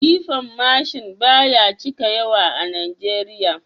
Jifan mashin ba ya cika yawa a Najeriya